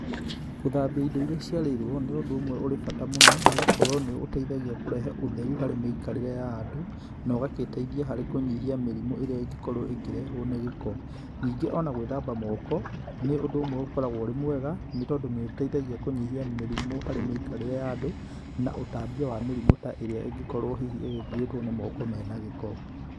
Gũthambia ĩndo ĩria cĩarerwo ni ũndũ ũmwe ũri bata mũno, nĩ gukorwo nĩ ũteĩthagia kurehe ũtherũ harĩ mĩĩkarire ya andũ, na ugagĩteĩthia harĩ kunyĩhia mĩrimu ĩria ĩngĩkorwo ĩkĩrehwo nĩ giko. Nĩngi ona gwithamba moko, nĩ ũndũ ũmwe ũkoragwo wĩ mwega, nĩ tondũ nĩ ũteĩthagia kunyĩhia mĩrimũ harĩ mĩĩkarire ya andũ na ũtambia wa mĩrimu ta ĩria ĩngĩkorwo hihi ĩgĩkũitwo nĩ moko mena gĩko.